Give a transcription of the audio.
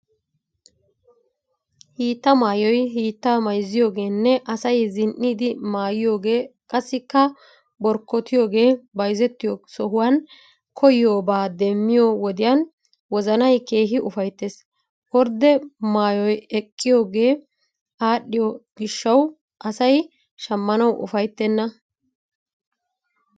Hiitta maayoy hiittaa mayzziyoogeenne asay zin"iiddi maayiyoogee qassikka borkkotiyoogee bayzettiyo sohuwan koyiyoobaa demmiyo wodiyan wozanay keehi ufayttees. Ordde maay aqiyoogee adhdhiyo gishawu asay shammanawu ufayttenna.